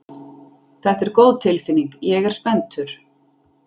Þetta er góð tilfinning, ég er spenntur.